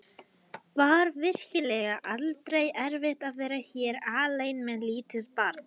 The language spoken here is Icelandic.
Var virkilega aldrei erfitt að vera hér alein með lítið barn?